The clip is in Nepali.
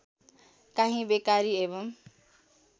काहीँ बेकारी एवं